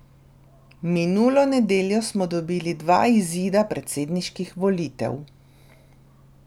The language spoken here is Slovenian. Minulo nedeljo smo dobili dva izida predsedniških volitev.